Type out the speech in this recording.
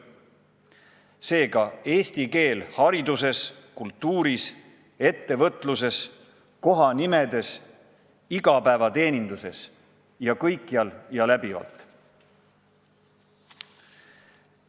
Seega, eesti keel hariduses, kultuuris, ettevõtluses, kohanimedes, igapäevateeninduses – kõikjal ja läbivalt.